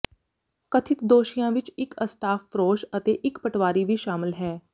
ਕਥਿਤ ਦੋਸ਼ੀਆਂ ਵਿਚ ਇਕ ਅਸ਼ਟਾਫ ਫਰੋਸ਼ ਅਤੇ ਇਕ ਪਟਵਾਰੀ ਵੀ ਸ਼ਾਮਲ ਹੈ